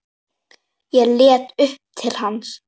Ég leit upp til hans.